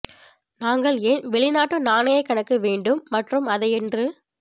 நாங்கள் ஏன் வெளிநாட்டு நாணய கணக்கு வேண்டும் மற்றும் அதை என்று